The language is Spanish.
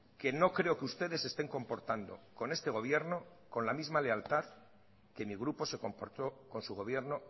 que no creo que ustedes se estén comportando con este gobierno con la misma lealtad que mi grupo se comportó con su gobierno